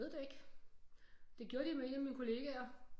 Ved det ikke det gjorde de med en af mine kollegaer